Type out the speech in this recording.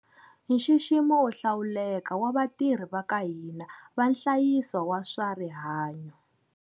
Nxiximo wo hlawuleka wa vatirhi va ka hina va nhlayiso wa swa rihanyo.